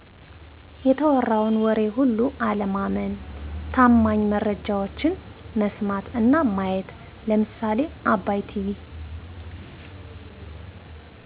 የተወራዉን ወሬ ሁሉ አለማመን ታማኝ መረጃወችን መስማት እና ማየት ለምሳሌ አባይ ቲቪ